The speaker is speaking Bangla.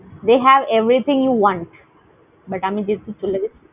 They have everything you want, but আমি যেহেতু চলে গেছি।